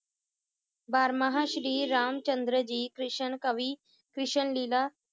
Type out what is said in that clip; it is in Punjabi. ਬਾਰਾਮਾਂਹ ਸ਼੍ਰੀ ਰਾਮ ਚੰਦਰ ਜੀ ਕ੍ਰਿਸ਼ਨ ਕਵੀ, ਕ੍ਰਿਸ਼ਨ ਲੀਲਾ